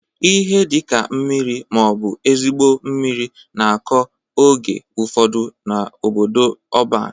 Ihe dị ka mmiri ma ọ bụ ezigbo mmiri na-akọ oge ufodu n'obodo ọban.